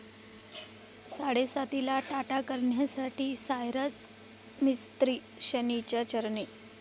साडेसातीला 'टाटा' करण्यासाठी सायरस मिस्त्री शनीच्या चरणी